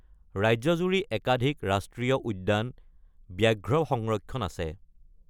ৰাজ্যজুৰি একাধিক ৰাষ্ট্ৰীয় উদ্যান, ব্যাঘ্ৰ সংৰক্ষণ আছে।